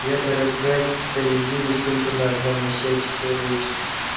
я дорогая специализируюсь только на одном на счастье человеческом